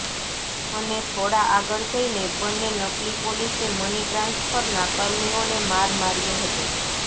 અને થોડા આગળ જઈને બંને નકલી પોલીસે મની ટ્રાન્સફરનાં કર્મીઓને માર માર્યો હતો